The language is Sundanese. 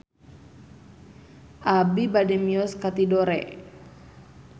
Abi bade mios ka Tidore